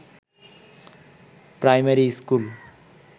primary school